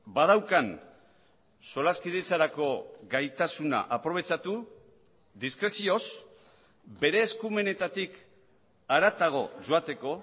badaukan solaskidetzarako gaitasuna aprobetxatu diskrezioz bere eskumenetatik haratago joateko